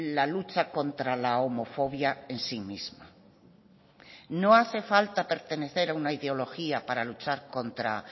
la lucha contra la homofobia en sí misma no hace falta pertenecer a una ideología para luchar contra